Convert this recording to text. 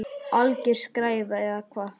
Alger skræfa eða hvað?